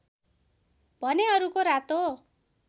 भने अरूको रातो